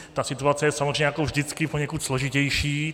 Ta situace je samozřejmě jako vždycky poněkud složitější.